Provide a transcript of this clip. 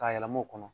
K'a yɛlɛm'o kɔnɔ